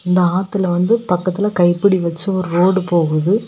இந்த ஆத்துல வந்து பக்கத்துல கைப்பிடி வைச்சி ஒரு ரோடு போகுது.